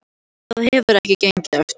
Það hefur ekki gengið eftir